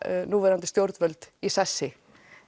núverandi stjórnvöld í sessi